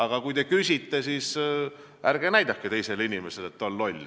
Aga kui te midagi küsite, siis ärge näidake teisele inimesele, et ta on loll.